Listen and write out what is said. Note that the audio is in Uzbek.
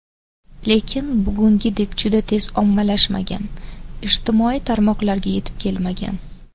Lekin bugungidek juda tez ommalashmagan, ijtimoiy tarmoqlarga yetib kelmagan.